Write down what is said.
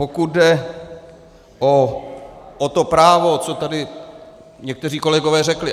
Pokud jde o to právo, co tady někteří kolegové řekli.